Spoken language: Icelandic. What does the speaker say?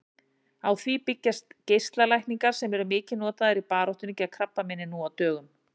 Á því byggjast geislalækningar sem eru mikið notaðar í baráttunni gegn krabbameini nú á dögum.